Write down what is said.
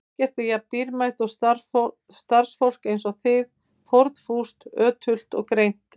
Ekkert er jafn dýrmætt og starfsfólk eins og þið: fórnfúst, ötult og greint.